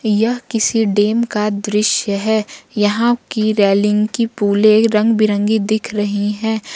यह किसी डैम का दृश्य है यहां की रेलिंग की पूले रंग-बिरंगी दिख रही है।